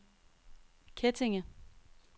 Kettinge